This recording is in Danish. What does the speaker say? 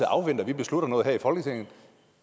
og afventer at vi beslutter noget her